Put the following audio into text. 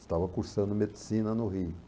Estava cursando medicina no Rio